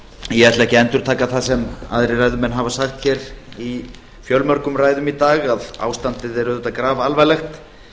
ég ætla ekki að endurtaka það sem aðrir ræðumenn hafa sagt hér í fjölmörgum ræðum í dag að ástandið er auðvitað grafalvarlegt